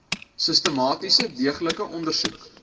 sistematiese deeglike ondersoek